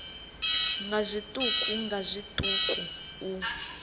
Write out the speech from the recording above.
nga zwiṱuku nga zwiṱuku u